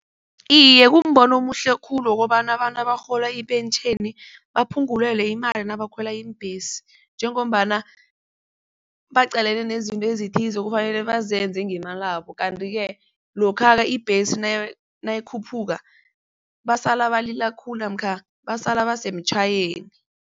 Iye, kumbono omuhle khulu wokobana abantu abarhola ipentjheni baphungulelwe imali nabakhwela iimbhesi njengombana baqalene nezinto ezithize ekufanele bazenze ngemalabo, kanti-ke lokha ibhesi nayikhuphuka basala balila khulu namkha basala basemtjhayweni